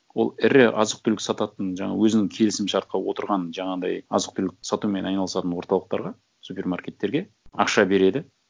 ол ірі азық түлік сататын жаңа өзінің келісімшартқа отырған жаңағындай азық түлік сатумен айналысатын орталықтарға супермаркеттерге ақша береді